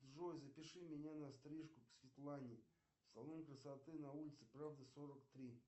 джой запиши меня на стрижку к светлане в салон красоты на улице правды сорок три